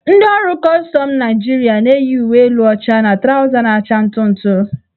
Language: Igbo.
Ndị ọrụ kọstọm Naịjirịa na-eyi uwe elu ọcha na trawza na-acha ntụ ntụ.